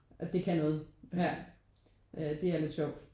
At det kan noget ja det er lidt sjovt